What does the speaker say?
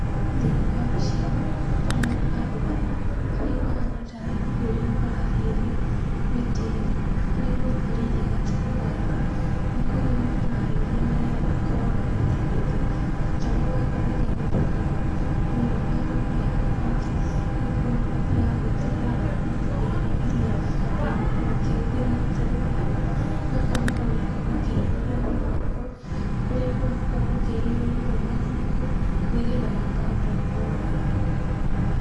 Thĩiniĩ wa mbica ĩno, ndĩrona andũ ana arĩa mahana tarĩ kũhiũria marahiũria mĩtĩ ĩno, arĩa maikarĩire gatarũ gaka. Nĩ kũhiũria marahiũria nĩgetha gakorũo gakĩhota gũthiĩ. Gatarũ gaaka nĩ kahũthĩkaga mũno nĩ arĩmi a thamaki nĩ gũkorũo nĩ mathiaga gũĩtegera thamaki thiĩni wa iria. Na makoragwo makĩhũthĩra gatarũ gaka, gaka maroneka makehiũria na moko, kũrĩa andũ makoragwo makĩhiũria ũũ ma moko nĩ getha gakahota gũkorwo gagithiĩ.